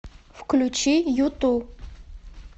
включи юту